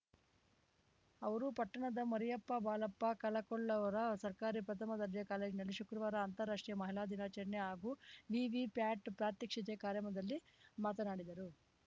ಅವರು ಪಟ್ಟಣದ ಮರಿಯಪ್ಪ ಬಾಳಪ್ಪ ಕಳಕೊಳ್ಳವರ ಸರ್ಕಾರಿ ಪ್ರಥಮ ದರ್ಜೆ ಕಾಲೇಜನಲ್ಲಿ ಶುಕ್ರವಾರ ಅಂತರಾಷ್ಟ್ರೀಯ ಮಹಿಳಾ ದಿನಾಚರಣೆ ಹಾಗೂ ವಿವಿ ಪ್ಯಾಟ್ ಪ್ರಾತ್ಯಕ್ಷಿತೆ ಕಾರ್ಯಮದಲ್ಲಿ ಮಾತನಾಡಿದರು